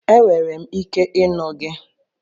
Enwere m ike ịnụ gị